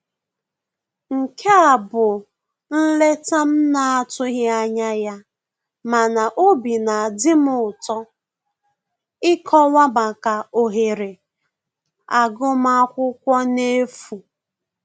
Nke a bụ nleta m na-atụghị anya ya mana obi na adị m ụtọ ịkọwa maka ohere agụmakwụkwọ n'efu